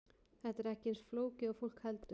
Þetta er ekki eins flókið og fólk heldur.